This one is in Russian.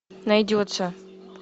найдется